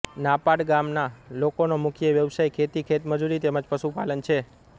નાપાડ ગામના લોકોનો મુખ્ય વ્યવસાય ખેતી ખેતમજૂરી તેમ જ પશુપાલન છે